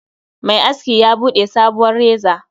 Mai aski ya Bude sabuwar reza